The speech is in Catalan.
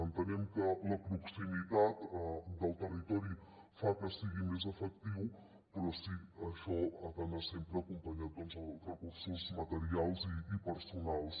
entenem que la proximitat del territori fa que sigui més efectiu però sí això ha d’anar sempre acompanyat dels recursos materials i personals